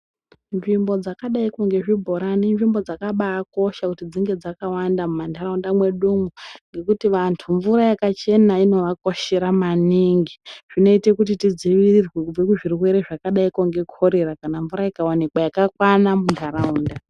Nzvimbo dzakadaiko ngezvibhorani inzvimbo dzakabakosha kuti dzinge dzakawanda mumantaraunda mwedu umwo ngekuti vantu mvura yakachena inovakoshera maningi. Zvinoite kuti tidzivirirwe kubve kuzvirwere zvakadaiko ngekhorera kana mvura ikawanikwa yakakwana munharaunda.